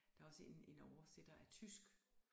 Der er også en en oversætter af tysk